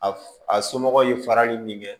A a somɔgɔw ye farali min kɛ